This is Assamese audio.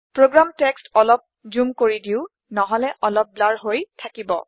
প্ৰোগ্ৰাম টেক্সট অলপ জোম কৰি দিও নহলে অলপ ধুৱা হৈ থাকিব